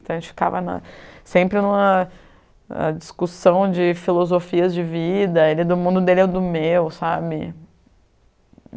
Então a gente ficava sempre em uma discussão de filosofias de vida, do mundo dele ao do meu, sabe?